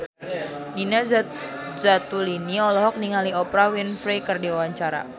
Nina Zatulini olohok ningali Oprah Winfrey keur diwawancara